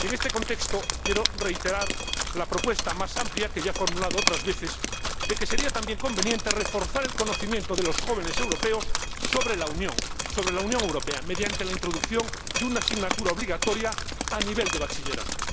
En este contexto, quiero reiterar la propuesta más amplia, que ya he formulado otras veces, de que sería también conveniente reforzar el conocimiento de los jóvenes europeos sobre la Unión Europea mediante la introducción de una asignatura obligatoria a nivel de bachillerato.